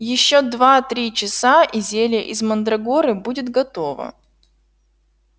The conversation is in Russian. ещё два-три часа и зелье из мандрагоры будет готово